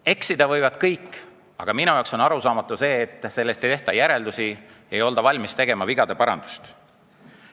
Eksida võivad kõik, aga minu jaoks on arusaamatu, et sellest ei tehta järeldusi, ei olda valmis vigu parandama.